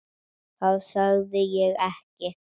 Það sagði ég ekki.